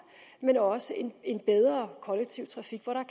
men også en bedre kollektiv trafik hvor der